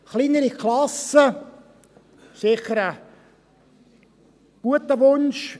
Kleinere Klassen sind sicher ein guter Wunsch.